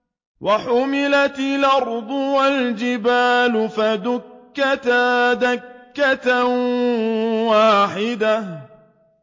وَحُمِلَتِ الْأَرْضُ وَالْجِبَالُ فَدُكَّتَا دَكَّةً وَاحِدَةً